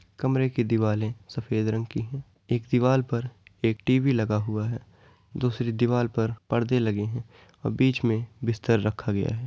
कमरे कि दिवाले सफ़ेद रंग की हैं। एक दीवाल पर एक टी.वी. लगा हुआ है। दूसरी दीवाल पर पर्दे लगे हैं और बीच में बिस्तर रखा गया है।